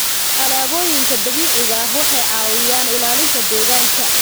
Alaabooyinka dabiiciga ahi waxay caawiyaan ilaalinta deegaanka.